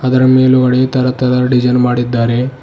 ಅದರ ಮೇಲುಗಡೆ ತರ ತರದ ಡಿಸೈನ್ ಮಾಡಿದ್ದಾರೆ.